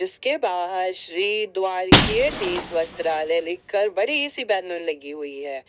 इसके बाहर श्री द्वारिकेयधीश वस्त्रालय लिखकर बड़ी सी बैनर लगी हुई है।